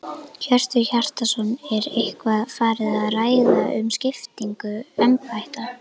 Hjörtur Hjartarson: Er eitthvað farið að ræða um skiptingu embætta?